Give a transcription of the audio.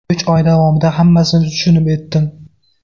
Uch oy davomida hammasini tushunib etdim.